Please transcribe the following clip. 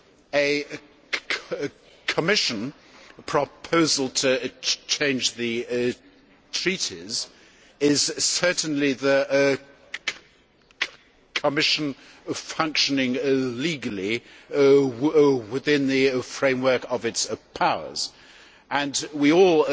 A Commission proposal to change the treaties is certainly the Commission functioning legally within the framework of its powers, and we all